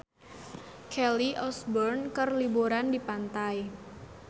Kelly Osbourne keur liburan di pantai